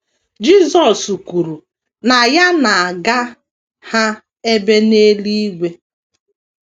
Jisọs kwuru na ya na - aga ha ebe n’eluigwe.